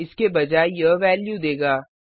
इसके बजाय यह वेल्यू देगा